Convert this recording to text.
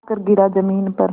आकर गिरा ज़मीन पर